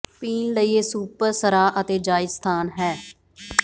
ਪੀਣ ਲਈ ਇਹ ਸੁਪਰ ਸਰ਼ਾ ਅਤੇ ਜਾਇਜ਼ ਸਥਾਨ ਹੈ